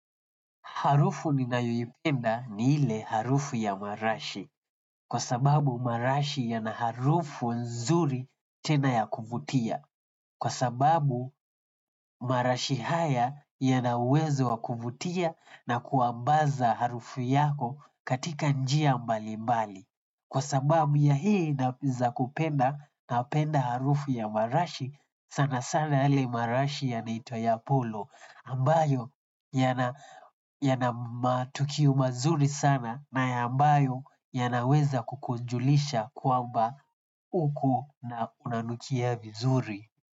Harufu ninayoipenda ni ile harufu ya marashi. Kwa sababu marashi yanaharufu nzuri tena ya kuvutia. Kwa sababu marashi haya yana uwezo wa kuvutia na kuambaza harufu yako katika njia mbali mbali. Kwa sababu ya hii naweza kupenda napenda harufu ya marashi sana sana yale marashi yanaitwa ya polo. Ambayo yana yana matokeo mazuri sana na amabayo yanaweza kukujulisha kwamba uko unanukia vizuri.